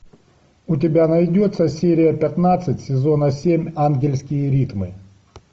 у тебя найдется серия пятнадцать сезона семь ангельские ритмы